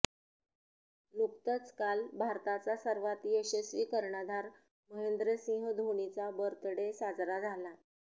नुकतंच काल भारताचा सर्वात यशस्वी कर्णधार महेंद्रसिंह धोनीचा बर्थडे साजरा झाला